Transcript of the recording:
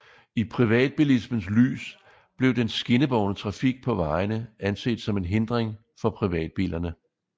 I privatbilismens lys blev den skinnebårne trafik på vejene anset som en hindring for privatbilerne